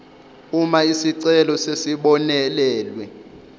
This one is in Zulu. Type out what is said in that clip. uma isicelo sesibonelelwe